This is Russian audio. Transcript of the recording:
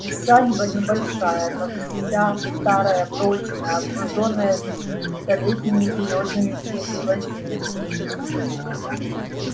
усадьба небольшая но вся старая прочная окружённая столетними берёзами и лозинами